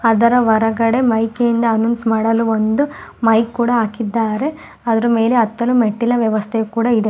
ಅದರ ವರಗಡೆ ಮೈಕಿ ನಿಂದ ಅನೌನ್ಸ್ ಮಾಡಲು ಒಂದು ಮೈಕ್ ಕೂಡ ಹಾಕಿದ್ದಾರೆ ಅದ್ರ ಮೇಲೆ ಅತ್ತಲು ಮೆಟ್ಟಿಲ ವ್ಯವಸ್ಥೆ ಕೂಡ ಇದೆ.